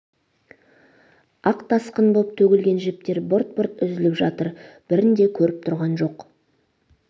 ақ тасқын боп төгілген жіптер бырт-бырт үзіліп жатыр бірін де көріп тұрған жоқ